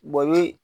ni